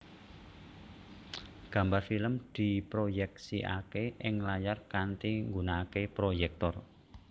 Gambar film diproyèksikaké ing layar kanthi nggunakaké proyèktor